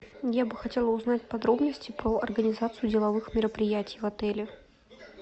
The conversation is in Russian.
я бы хотела узнать подробности про организацию деловых мероприятий в отеле